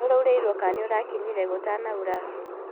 NĨ ũraurĩirwo kana ũrakinyire gũtanaura?